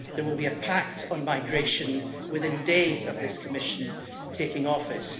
There will be a pact on migration within days of this Commission taking office.